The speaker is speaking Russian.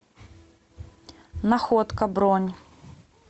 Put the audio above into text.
находка бронь